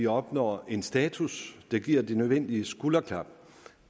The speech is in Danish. opnås en status der giver det nødvendige skulderklap